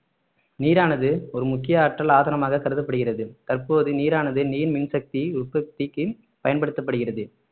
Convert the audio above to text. நீரானது ஒரு முக்கிய ஆற்றல் ஆதாரமாக கருதப்படுகிறது தற்போது நீரானது நீர் மின் சக்தி உற்பத்திக்கு பயன்படுத்தப்படுகிறது